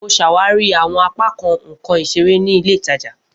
Mo ṣawari awọn apakan nkan isere ni ile itaja.